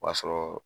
O b'a sɔrɔ